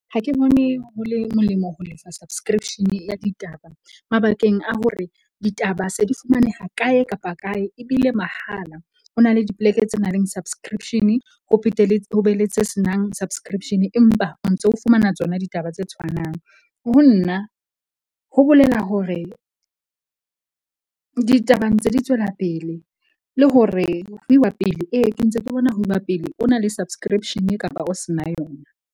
Ha ke bone ho le molemo ho lefa subscription-e ya ditaba mabakeng a hore ditaba se di fumaneha kae kapa kae ebile mahala. Ho na le dipoleke tse na leng subscription-e ho phethe le ho be le tse senang subscription-e. Empa o ntso fumana tsona ditaba tse tshwanang. Ho nna ho bolela hore ditaba ntse di tswela pele le hore ho iwa pele. Ee ke ntse ke bona ho iwa pele o na le subscription-e kapa o se na yona.